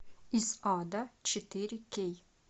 из ада четыре кей